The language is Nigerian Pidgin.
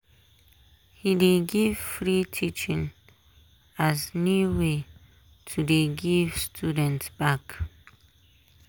he dey give free teaching as new way to dey give students back.